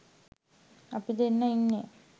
අපි දෙන්නා ඉන්නෙ